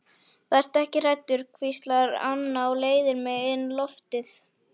Vertu ekki hræddur, hvíslar Anna og leiðir mig inn loftið.